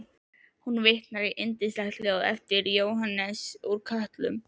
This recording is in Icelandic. Hún vitnar í yndislegt ljóð eftir Jóhannes úr Kötlum